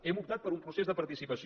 hem optat per un procés de participació